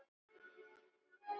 Hún var ónýt.